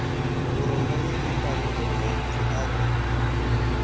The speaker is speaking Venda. vhuronwane ambani urimaipfi a re